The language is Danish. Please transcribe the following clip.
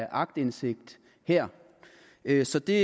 aktindsigt her her så det